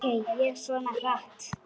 Ók ég svona hratt?